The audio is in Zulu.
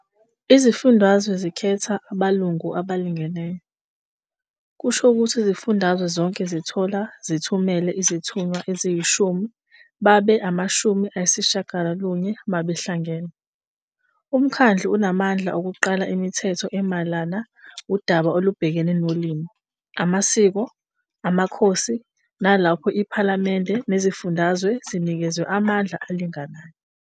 Izifundazwe zikhetha abalungu abalingeneyo, kusho ukuthi izifundazwe zonke zithola zithumela izithunywa eziyishumi babe amashumi ayisishiyagalolunye mabahlangene. UMkhandlu unamandla okuqala imithetho emayelana udaba olubhekane nolimi, amasiko, amakhosi, nalapho iPhalamende nezifundazwe zinikezwe amandla alinganayo.